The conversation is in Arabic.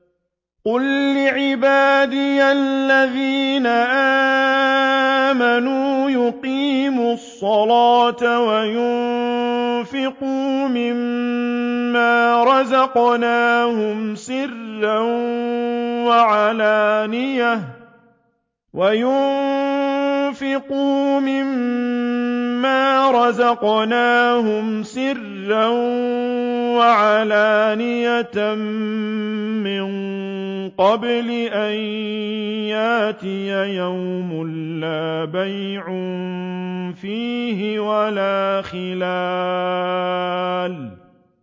قُل لِّعِبَادِيَ الَّذِينَ آمَنُوا يُقِيمُوا الصَّلَاةَ وَيُنفِقُوا مِمَّا رَزَقْنَاهُمْ سِرًّا وَعَلَانِيَةً مِّن قَبْلِ أَن يَأْتِيَ يَوْمٌ لَّا بَيْعٌ فِيهِ وَلَا خِلَالٌ